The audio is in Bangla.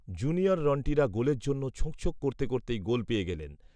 জুনিয়র রন্টিরা গোলের জন্য ছোঁকছোঁক করতে করতেই গোল পেয়ে গেলেন